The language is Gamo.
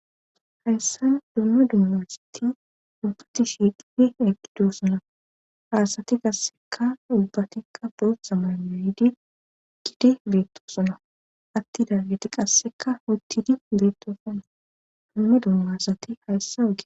hayssan dumma dummasati ubbati shiiqhidi eqidosona haasati qasseka ubbatikka bootha malae hidi gidi beettoosona atti daagiti qasseka oottidi beettosona dumma dummasati hayssa oge